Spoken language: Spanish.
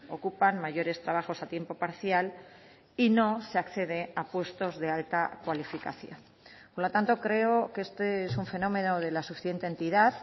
ocupan mayores trabajos a tiempo parcial y no se accede a puestos de alta cualificación por lo tanto creo que este es un fenómeno de la suficiente entidad